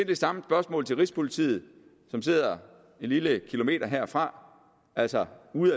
det samme spørgsmål til rigspolitiet som sidder en lille kilometer herfra altså uden